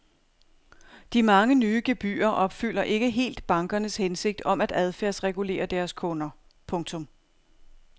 De mange nye gebyrer opfylder ikke helt bankernes hensigt om at adfærdsregulere deres kunder. punktum